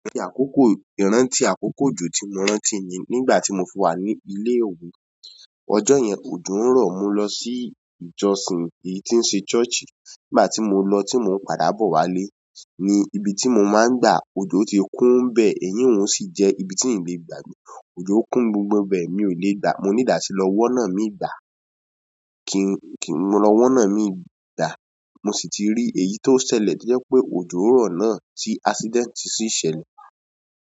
Ìrántí àkókò, ìrántí àkókò jù tí mo rántí ni nígbà tí mo fí wà ní ilé ìwé. Ọjọ́ yẹn òjò ń rọ̀ mo lọ sí ìjọsìn èyí tí ń ṣe ṣọ́ọ̀ṣì. Nígbà tí mo lọ tí mo ń padà bọ̀ wálé ni ibi tí mo máa ń gba òdò ti kún bẹ́ẹ̀, èyí òun sì jẹ́ ibi tí ìle gbà. Òjò kún gbogbo bẹ́ẹ̀ mi ò lè gba, mo nìídí àtilọ wọ́nà mí gbà. Kì, kìn mọ lọ wọ́nà mí gbà mo sì ti rí èyí tó ṣẹlẹ̀ tíó jẹ́ pé òjò rọ̀ náà tí accidenti sì ṣẹlẹ̀.